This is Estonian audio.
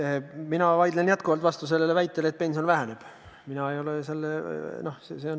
Aga mina vaidlen jätkuvalt vastu väitele, et pension väheneb.